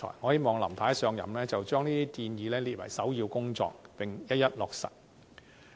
我希望"林太"一上任，就將這些建議列為首要工作，並一一落實。